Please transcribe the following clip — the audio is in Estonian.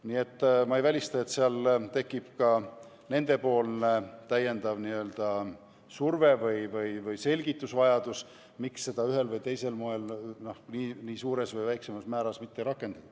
Nii et ma ei välista, et seal tekib veel surve või selgitusvajadus, miks seda ühel või teisel moel nii suures või väiksemas määras mitte rakendada.